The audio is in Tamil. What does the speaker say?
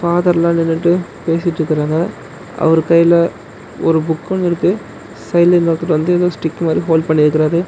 ஃபாதர்லா நின்னுட்டு பேசிட்ருக்கறாங்க அவர் கைல ஒரு புக் ஒன்னு இருக்கு சைடுல இன்னொருத்தர் வந்து எதோ ஸ்டிக் மாரி ஹோல்டு பண்ணிருக்கறாரு.